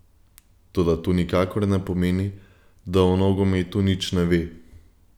Toda to nikakor ne pomeni, da o nogometu nič ne ve.